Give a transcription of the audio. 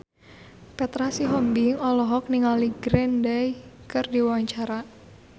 Petra Sihombing olohok ningali Green Day keur diwawancara